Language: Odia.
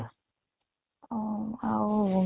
ଅଂ ଆଉ